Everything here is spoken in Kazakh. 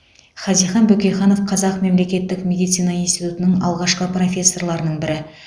хазихан бөкейханов қазақ мемлекеттік медицина институтының алғашқы профессорларының бірі